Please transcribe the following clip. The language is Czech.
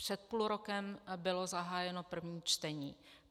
Před půl rokem bylo zahájeno první čtení.